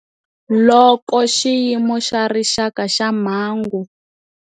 Loko Xiyimo xa Rixaka xa Mhangu.